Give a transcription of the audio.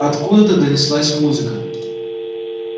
откуда-то донеслась музыка